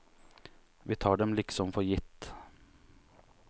Vi tar dem liksom for gitt.